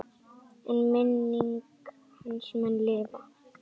En minning hans mun lifa.